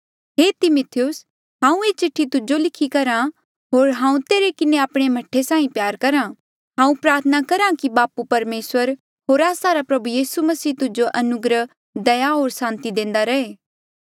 हे तिमिथियुस हांऊँ ये चिठ्ठी तुजो लिखी करहा होर हांऊँ तेरे किन्हें आपणे मह्ठे साहीं प्यार करहा हांऊँ प्रार्थना करहा कि बापू परमेसर होर आस्सा रा प्रभु यीसू मसीह तुजो अनुग्रह दया होर सांति देंदा रहे